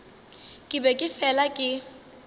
ke be ke fela ke